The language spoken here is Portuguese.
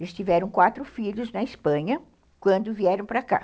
Eles tiveram quatro filhos na Espanha quando vieram para cá.